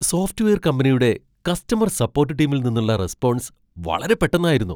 Software കമ്പനിയുടെ customer support ടീമിൽ നിന്നുള്ള റെസ്പോൺസ് വളരെ പെട്ടന്നായിരുന്നു!